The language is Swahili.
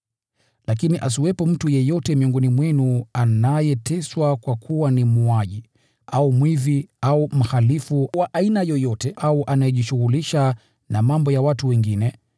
Lakini asiwepo mtu yeyote miongoni mwenu anayeteswa kwa kuwa ni muuaji, au mwizi, au mhalifu wa aina yoyote, au anayejishughulisha na mambo ya watu wengine.